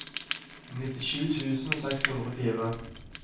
nittisju tusen seks hundre og fire